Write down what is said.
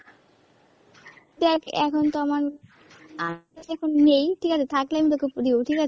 দ্যাখ এখন তো আমার কাছে এখন নেই ঠিক আছে, থাকলে আমি তোকে দিয়ে দেব ঠিক আছে।